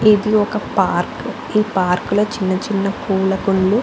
ఇది ఒక పార్క్ ఈ పార్క్ లో చిన్న చిన్న పూల కుండ్లు --